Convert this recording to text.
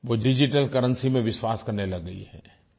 वो digital currency में विश्वास करने लग गई है